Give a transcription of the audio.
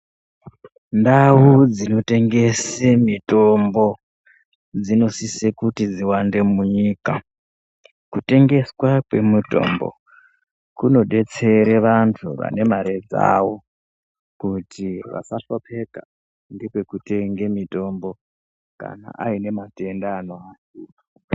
Ndau dzinotengese mitombo, dzinosise kuti dziwande munyika. Kutengeswa kwemitombo, kunodetsere vanhu vane mare dzavo ,kuti vasahlupheka ngepekutenge mitombo, kana aine matenda ano....